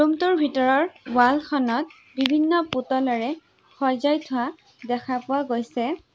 ৰুমটোৰ ভিতৰৰ ৱালখনত বিভিন্ন পুতলাৰে সজাই থোৱা দেখা পোৱা গৈছে।